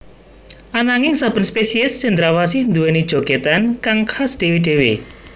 Ananging saben spesiés cendrawasih nduwèni jogètan kang khas dhéwé dhéwé